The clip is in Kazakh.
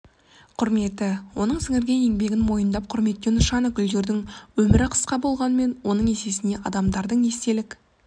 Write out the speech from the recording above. құрметі оның сіңірген еңбегін мойындап құрметтеу нышаны гүлдердің өмірі қысқа болғанмен оның есесіне адамдардың естелік